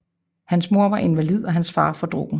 Hans mor var invalid og hans far fordrukken